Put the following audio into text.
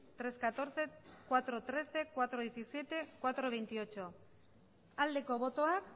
tres catorce cuatro trece cuatro diecisiete cuatro veintiocho aldeko botoak